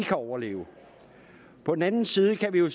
kan overleve på den anden side kan vi jo